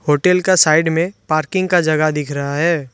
Hotel का side में parking का जगह दिख रहा है।